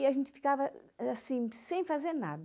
E a gente ficava assim, sem fazer nada.